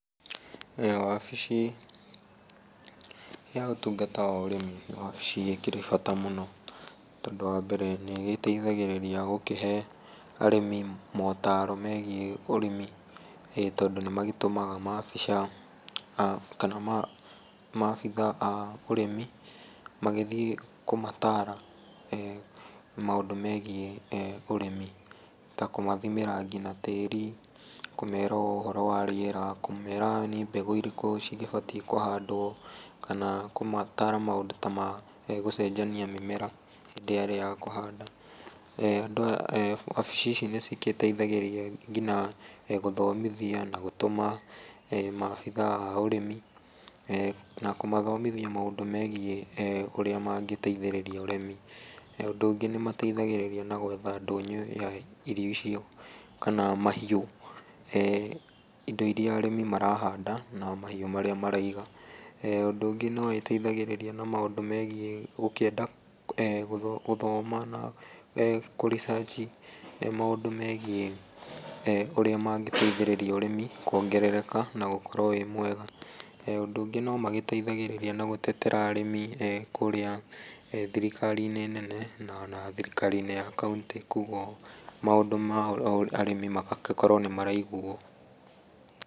Wabici ya gũtungata ũrĩmi nĩ wabici ĩkĩrĩ bata mũno tondũ wa mbere nĩgĩteithagĩrĩria gũkĩhe arĩmi motarwo megiĩ ũrĩmi tondũ nĩmagĩtũmaga maobica kana maabitha ma ũrĩmi magĩthiĩ kũmatara na maũndũ megiĩ ũrĩmi ta kũmathimĩra nginya tĩri kũmera ũhoro wa rĩera kũmera mbegũ irĩkũ ciabatiĩ kũhandwo kana kũmatara maũndũ ta magũcenjania mĩmera hĩndĩ ĩrĩa ya kũhanda. Wabici ici nĩgĩteithagĩrĩria nginya gũthomithia na gũtũma ma obitha wa ũrĩmi na kũmathomithia maũndũ megiĩ eh ũrĩa mangĩteithĩrĩria ũrĩmi. Ũndũ ũngĩ nĩmateithagĩrĩria na gwetha ndũnyũ ya irio icio kana mahiũ. Eh indo irĩa arĩmi marahanda kana mahiũ marĩa maraiga ũndũ ũngĩ noĩiteithagĩrĩria megiĩ gũkĩenda gũthoma na kũricanji maũndũ megiĩ ũrĩa mangĩteithĩrĩria ũrĩmi kuongerereka na gũkorwo wĩ mwega. Ũndũ ũngĩ nomagĩteithagĩrĩria na gũtetera arĩmi kũrĩa thirikari nene ona thirikari -inĩ ya kauntĩ koguo maũndũ ma arĩmi magagĩkorwo nĩ maraiguo.